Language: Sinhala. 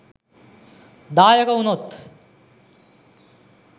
දායක වුණොත්